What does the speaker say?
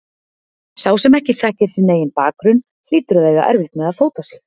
Sá sem ekki þekkir sinn eigin bakgrunn hlýtur að eiga erfitt með að fóta sig.